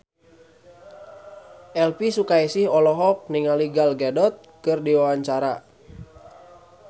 Elvi Sukaesih olohok ningali Gal Gadot keur diwawancara